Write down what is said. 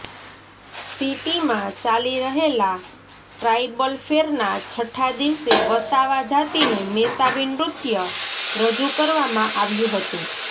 સિટીમાં ચાલી રહેલા ટ્રાઈબલ ફેરનાં છઠ્ઠા દિવસે વસાવા જાતિનું મેસાવી નૃત્ય રજૂ કરવામાં આવ્યું હતું